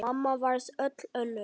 Mamma varð öll önnur.